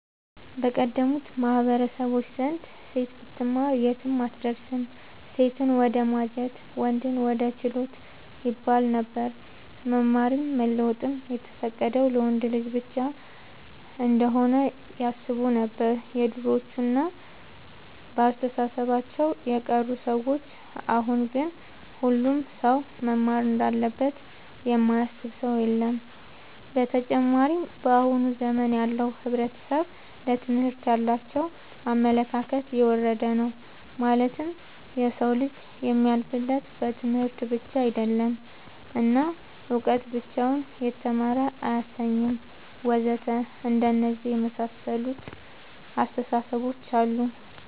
በቀደሙት ማህበረሰቦች ዘንድ ሴት ብትማር የትም አትደርስም ሴትን ወደማጀት ወንድን ወደ ችሎት ይባለነበር። መማርም መለወጥም የተፈቀደው ለወንድ ልጅ ብቻ እንሆነ ያስቡነበር የድሮዎቹ እና በአስተሳሰባቸው የቀሩ ሰዎች አሁን ግን ሁሉም ሰው መማር እንዳለበት የማያስብ ሰው የለም። ብተጨማርም በአሁን ዘመን ያለው ሕብረተሰብ ለትምህርት ያላቸው አመለካከት የወረደ ነው ማለትም የሰው ልጅ የሚያልፍለት በትምህርት ብቻ አይደለም እና እውቀት ብቻውን የተማረ አያሰኝም ወዘተ አንደነዚህ የመሳሰሉት አስታሳሰቦች አሉ